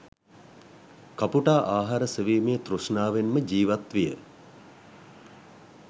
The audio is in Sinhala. කපුටා ආහාර සෙවීමේ තෘෂ්ණාවෙන්ම ජීවත් විය.